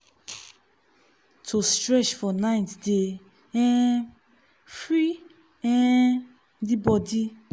to stretch for night dey um free um the body.